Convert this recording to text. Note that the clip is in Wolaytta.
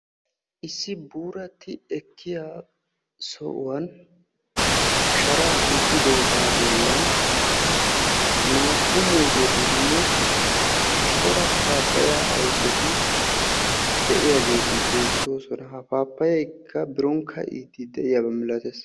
Issi buurati ekkiya sohuwan shara hiixidooga bollan naa"u muuzetinne cora pappaya ayfeti de'iyaageeti beettooosona. Ha pappayaykka biron kaa'ide de'iyaaba milatees.